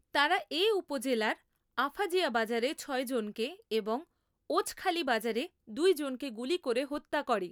তারা এ উপজেলার আফাজিয়া বাজারে ছয় জনকে এবং ওছখালি বাজারে দুই জনকে গুলি করে হত্যা করে।